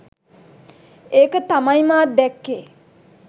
ඒක තමයිමාත් දැක්කෙ